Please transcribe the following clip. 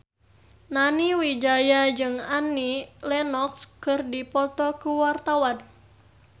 Nani Wijaya jeung Annie Lenox keur dipoto ku wartawan